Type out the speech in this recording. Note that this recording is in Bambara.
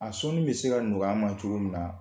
A sɔnni bɛ se ka nɔgɔya an ma cogo min na